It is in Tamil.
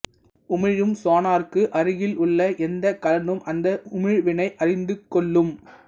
உமிழும் சொனாருக்கு அருகில் உள்ள எந்தக் கலனும் அந்த உமிழ்வினை அறிந்து கொள்ளும்